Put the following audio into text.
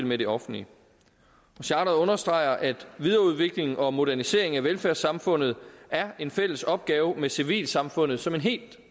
med det offentlige charteret understreger at videreudviklingen og moderniseringen af velfærdssamfundet er en fælles opgave med civilsamfundet som en helt